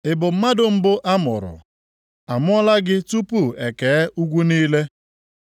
“Ị bụ mmadụ mbụ a mụrụ? A mụọla gị tupu e kee ugwu niile?